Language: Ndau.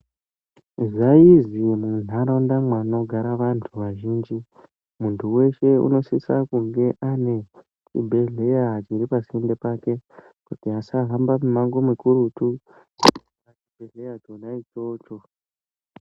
Zvaizwi muntaraunda mwanogara vantu vazhinji, muntu weshe unosisa kunge ane chibhedhlera chiri pasinde pake, kuti asahamba mimango mikurutu kuchibhedhleya chona ichocho.